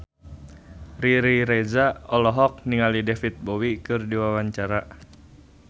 Riri Reza olohok ningali David Bowie keur diwawancara